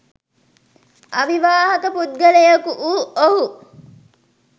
අවිවාහක පුද්ගලයෙකු වූ ඔහු